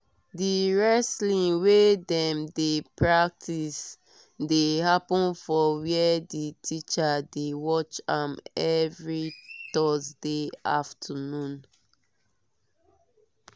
di wrestling wey dem dey practice dey happen for where the teacher dey watch am every thursday afternoon